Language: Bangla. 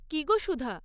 কী গো, সুধা!